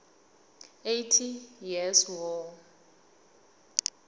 eighty years war